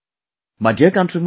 My dear countrymen,